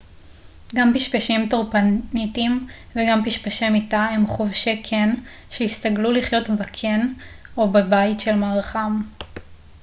גם פשפשים טורפניתיים וגם פשפשי מיטה הם חובשי קן שהסתגלו לחיות בקן או בבית של מארחם